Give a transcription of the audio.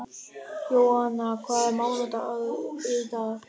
Jóanna, hvaða mánaðardagur er í dag?